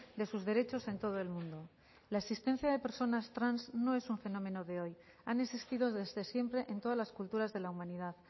de sus derechos en todo el mundo la existencia de personas trans no es un fenómeno de hoy han existido desde siempre en todas las culturas de la humanidad